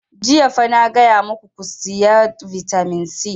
Jiya fa na gaya maku ku saya vitamin c!